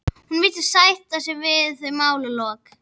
Hún virðist sætta sig við þau málalok.